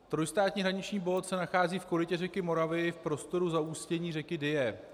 Trojstátní hraniční bod se nachází v korytě řeky Moravy, v prostoru zaústění řeky Dyje.